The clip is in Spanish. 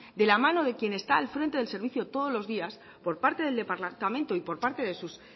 de la mano de quien está al frente del servicio todos los días por parte del departamento y por parte de sus